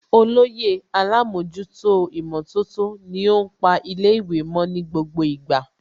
Olóyè Alámọ̀jútó ìmọ̀tótó ni ó ń pa ilé ìwé mo ní gbogbo ìgbà